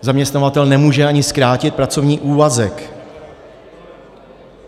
Zaměstnavatel nemůže ani zkrátit pracovní úvazek.